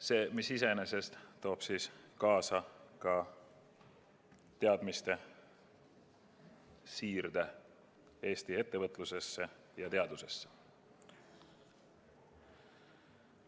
See iseenesest toob kaasa ka teadmiste siirde Eesti ettevõtlusesse ja teadusesse.